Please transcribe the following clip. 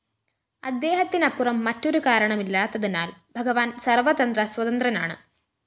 അദ്ദേഹത്തിനപ്പുറം മറ്റൊരു കാരണമില്ലാത്തതിനാല്‍ ഭഗവാന്‍ സര്‍വതന്ത്രസ്വതന്ത്രനാണ്